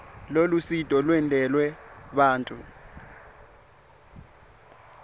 lolusito lwentelwe bantfu